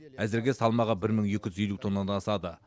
әзірге салмағы бір мың екі жүз елу тоннадан асады